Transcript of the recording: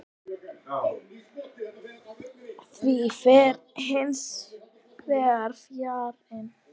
Því fer hins vegar fjarri.